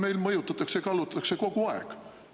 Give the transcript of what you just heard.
Meil mõjutatakse ja kallutatakse kogu aeg.